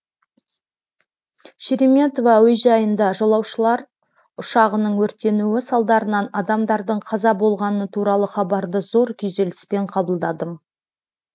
шереметьево әуежайында жолаушылар ұшағының өртенуі салдарынан адамдардың қаза болғаны туралы хабарды зор күйзеліспен қабылдадым